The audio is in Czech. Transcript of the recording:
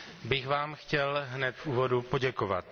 bych vám chtěl hned v úvodu poděkovat.